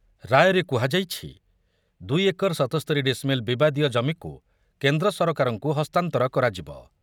ରାୟରେ କୁହାଯାଇଛି, ଦୁଇ ଏକର ସତସ୍ତୋରି ଡିସିମିଲ୍ ବିବାଦୀୟ ଜମିକୁ କେନ୍ଦ୍ର ସରକାରଙ୍କୁ ହସ୍ତାନ୍ତର କରାଯିବ ।